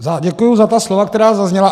Děkuji za ta slova, která zazněla.